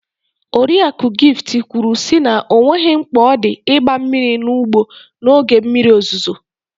Oriakụ Gift kwuru sị na ọ nweghị mkpa odị ịgba mmiri n'ugbo n'oge mmiri ozuzo.